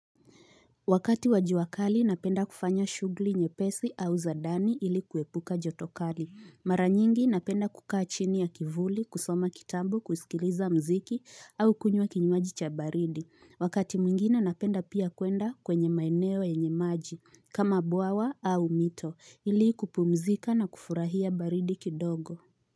Wakati wa jua kali napenda kufanya shughuli nyepesi au za ndani ili kuepuka joto kali. Mara nyingi napenda kukaa chini ya kivuli, kusoma kitabu, kusikiliza muziki au kunywa kinywaji cha baridi. Wakati mwingine napenda pia kwenda kwenye maeneo yenye maji, kama bwawa au mito, ili kupumzika na kufurahia baridi kidogo.